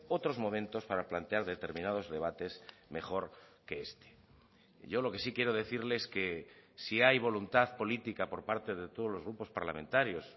otros momentos para plantear determinados debates mejor que este yo lo que sí quiero decirle es que si hay voluntad política por parte de todos los grupos parlamentarios